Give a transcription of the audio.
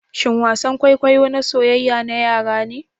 shin wasan kwaikwayo na soyyaya na yara ne?